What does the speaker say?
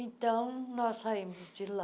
Então, nós saímos de lá,